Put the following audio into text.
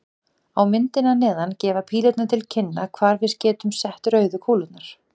Á myndinni að neðan gefa pílurnar til kynna hvar við getum sett rauðu kúlurnar.